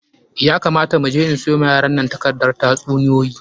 Ya kamata mu je in siyo wa yaran nan takardar tatsuniyoyi.